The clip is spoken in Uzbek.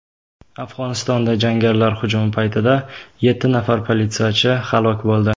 Afg‘onistonda jangarilar hujumi paytida yetti nafar politsiyachi halok bo‘ldi.